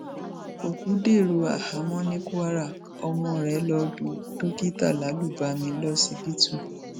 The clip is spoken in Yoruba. òkú dèrò àhámọ ní kwara ọmọ rẹ lọ lu dókítà lálùbami lọsibítù